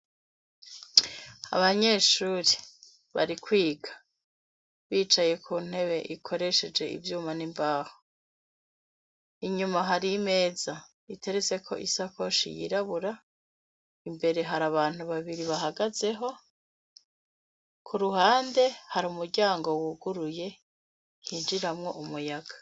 Abanyeshuri bari kwiga bicaye ku ntebe ikoresheje ivyuma n'imbaho inyuma hari imeza itereseko isa koshi yirabura imbere hari abantu babiri bahagazeho ku ruhande hari umuryango wuguruye hinjiremwo umuyaga.